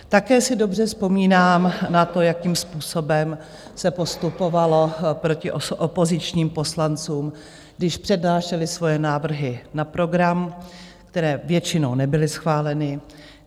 Také si dobře vzpomínám na to, jakým způsobem se postupovalo proti opozičním poslancům, když přednášeli svoje návrhy na program, které většinou nebyly schváleny.